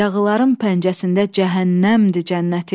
Yağıların pəncəsində cəhənnəmdir cənnətim.